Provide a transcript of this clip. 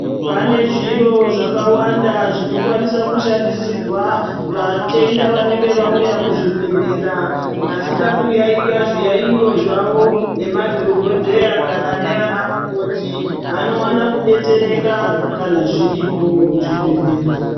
Pane zviro zvakawanda zvinokwanisa kushandisirwa vatenda vanenge vauya muzvibhehlera vachida kuyaiywa zviyaiyo zvavo nemadhokodheya kana ndiana mukoti. Vanowana kudetsereka kana zviripo muzvibhehlera.